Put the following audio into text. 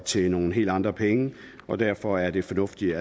til nogle helt andre penge derfor er det fornuftigt